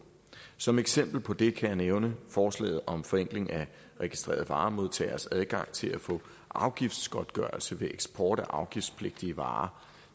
som eksempel på det kan jeg nævne forslaget om forenkling af registreret varemodtageres adgang til at få afgiftsgodtgørelse ved eksport af afgiftspligtige varer